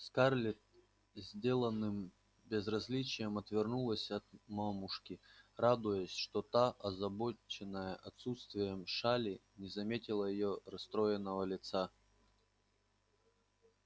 скарлетт с деланным безразличием отвернулась от мамушки радуясь что та озабоченная отсутствием шали не заметила её расстроенного лица